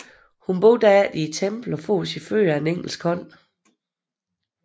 Hun bor derefter i templet og får sin føde af en engels hånd